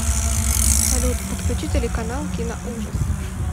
салют подключи телеканал киноужас